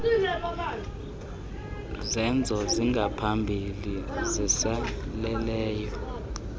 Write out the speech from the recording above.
zenzo zingaphambili ziseleleyo